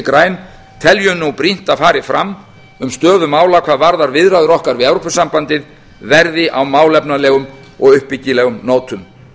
græn teljum nú brýnt að fari fram um stöðu mála hvað varðar viðræður okkar við evrópusambandið verði á málefnalegum og uppbyggilegum nótum